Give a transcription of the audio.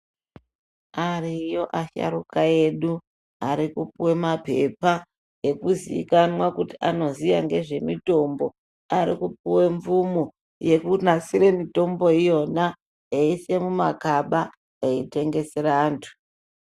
Ariyo asharuka edu arikupuwe maphepha ekuzikanwa kuti anoziya ngezvemitombo arikupuwe mvumo yekunasire mitombo iyona eiise mumagaba eitengesere anthu.